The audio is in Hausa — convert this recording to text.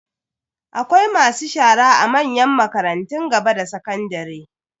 Akwai masu shara a manyan makarantun gaba da sakandare.